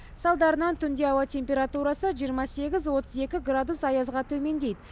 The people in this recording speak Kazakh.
салдарынан түнде ауа температурасы жиырма сегіз отыз екі градус аязға төмендейді